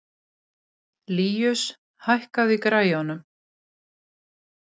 Líus, hækkaðu í græjunum.